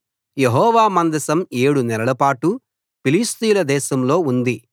యెహోవా మందసం ఏడు నెలలపాటు ఫిలిష్తీయుల దేశంలో ఉంది